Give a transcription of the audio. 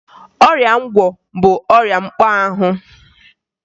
Ọrịa ngwọ bụ ọrịa mkpọahụ